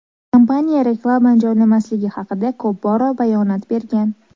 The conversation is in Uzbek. Kompaniya reklama joylamasligi haqida ko‘p bora bayonot bergan.